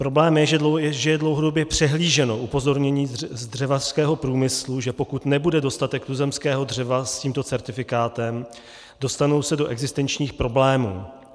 Problém je, že je dlouhodobě přehlíženo upozornění z dřevařského průmyslu, že pokud nebude dostatek tuzemského dřeva s tímto certifikátem, dostanou se do existenčních problémů.